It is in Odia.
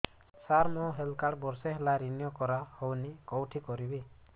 ସାର ମୋର ହେଲ୍ଥ କାର୍ଡ ବର୍ଷେ ହେଲା ରିନିଓ କରା ହଉନି କଉଠି କରିବି